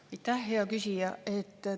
Aitäh, hea küsija!